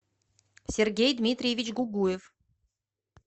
сергей дмитриевич гугуев